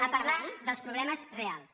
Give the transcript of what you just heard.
a parlar dels problemes reals